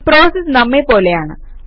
processes നമ്മെ പോലെയാണ്